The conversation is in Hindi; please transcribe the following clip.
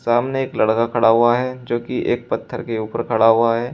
सामने एक लड़का खड़ा हुआ है जो की एक पत्थर के ऊपर खड़ा हुआ है।